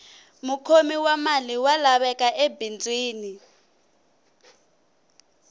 mukhomi wa mali wa laveka ebindzwini